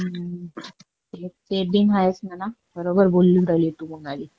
हम्म, एक ते बी आहेच म्हणा, बरोबर बोलूनं राहिली तू, मोनाली.